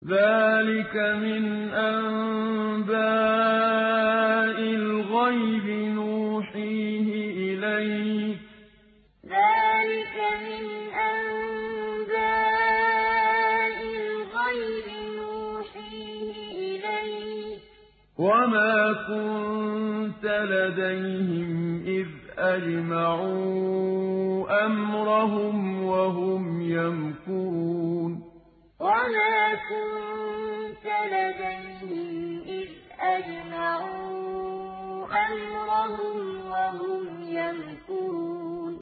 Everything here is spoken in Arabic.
ذَٰلِكَ مِنْ أَنبَاءِ الْغَيْبِ نُوحِيهِ إِلَيْكَ ۖ وَمَا كُنتَ لَدَيْهِمْ إِذْ أَجْمَعُوا أَمْرَهُمْ وَهُمْ يَمْكُرُونَ ذَٰلِكَ مِنْ أَنبَاءِ الْغَيْبِ نُوحِيهِ إِلَيْكَ ۖ وَمَا كُنتَ لَدَيْهِمْ إِذْ أَجْمَعُوا أَمْرَهُمْ وَهُمْ يَمْكُرُونَ